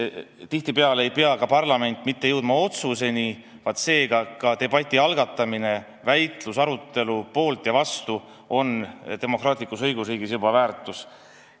Tihtipeale ei pea parlament mitte jõudma otsuseni, vaid ka debati algatamine, väitlus, arutelu poolt ja vastu on demokraatlikus õigusriigis juba väärtus.